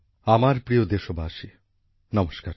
আমার প্রিয় দেশবাসী নমস্কার